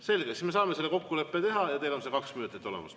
Selge, siis me saame selle kokkuleppe teha ja teil on see kaks minutit olemas.